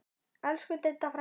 Elsku Didda frænka.